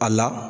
A la